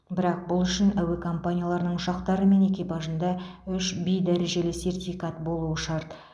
бірақ бұл үшін әуе компанияларының ұшақтары мен экипажында үш в дәрежелі сертификат болуы шарт